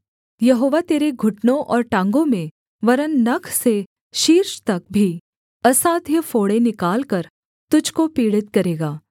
यहोवा तेरे घुटनों और टाँगों में वरन् नख से शीर्ष तक भी असाध्य फोड़े निकालकर तुझको पीड़ित करेगा